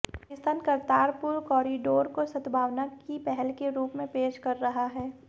Pakistan Kartarpur corridor को सद्भावना की पहल के रूप में पेश कर रहा है